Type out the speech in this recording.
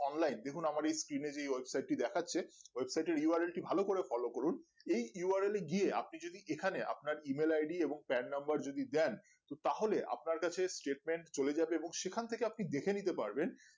online দেখুন আমার এই team এর website টি দেখাচ্ছে website টির reality ভালো করে ফলো করুন এই url গিয়ে আপন যদি এখানে আপনার email id এবং pan number যদি দেন তো তাহলে আপনার কাছে statement চলে যাবে এবং সেখান থেকে আপনি দেখে নিতে পারবেন